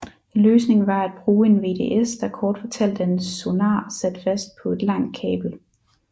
En løsning var at bruge en VDS der kort fortalt er en sonar sat fast på et langt kabel